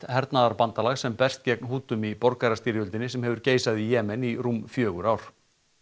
hernaðarbandalag sem berst gegn Hútum í borgarastyrjöldinni sem hefur geisað í Jemen í rúm fjögur ár